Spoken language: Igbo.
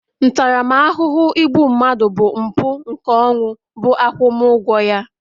ntaramahụhụ igbu mmadụ bụ mpu nke ọnwụ bu agwumu ugwo ya